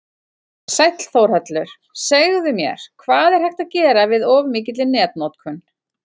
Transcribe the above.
Sæll Þórhallur, segðu mér, hvað er hægt að gera við of mikilli netnotkun?